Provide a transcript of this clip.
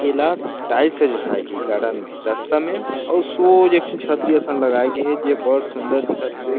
एला टाइल्स डासाये गे हे गार्डन में रास्ता मे अउ सोझ एक थो छतरी असन लगाए गे हे जे बड़ सुन्दर दिखत हेवे।